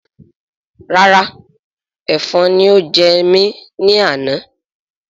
Rárá èfọn ni ó jẹ ẹ ní àná